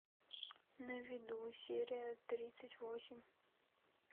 на виду серия тридцать восемь